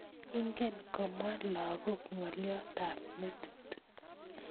Ingen komwa lakok ng'olyot ab metit